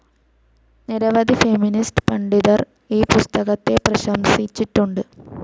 നിരവധി ഫെമിനിസ്റ്റ്‌ പണ്ഡിതർ ഈ പുസ്തകത്തെ പ്രശംസിച്ചിട്ടുണ്ട്.